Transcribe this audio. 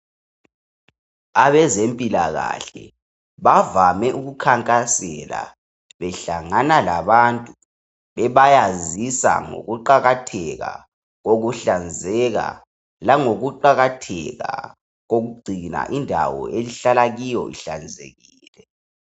Abezempilakahle bavame ukukhankasela, behlangana labantu , bebayazisa ngokuqakatheka kokuhlanzeka, langokuqakatheka kokugcina indawo elihlala kiyo ihlanzekile.